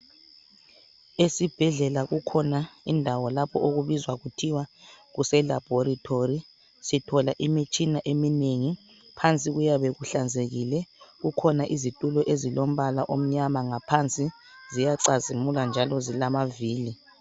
Esibhedlela kukhona indawo lapho okubizwa kuthiwa kuse labhoritholi, sithola imitshina eminengi phansi kuyabe kuhlanzekile. Kukhona izitulo ezilombala omnyama ngaphansi ziyacazimula njalo zilama vili.